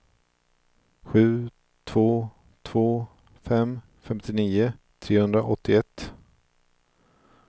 sju två två fem femtionio trehundraåttioett